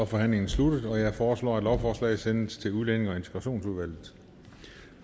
forhandlingen sluttet jeg foreslår at lovforslaget henvises til udlændinge og integrationsudvalget